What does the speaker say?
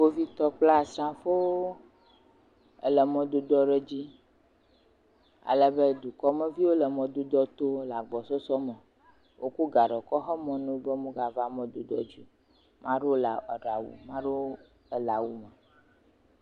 Kpovitɔ kple asrafowo le emɔ dzi ale be dukɔmeviwo le mɔdodoa to le agbɔsɔsɔ me, wokɔ gaɖɔ kɔ xe mɔ na wo be womegava mɔdodoa dzi o, maɖewo ɖe awu maɖewo le awu me.